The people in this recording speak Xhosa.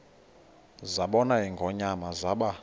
zabona ingonyama zaba